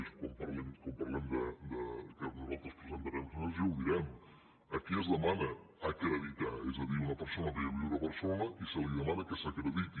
i quan parlem que nosaltres presentarem esmenes ja ho direm a qui es demana acreditar és a dir una persona ve a viure a barcelona i se li demana que s’acrediti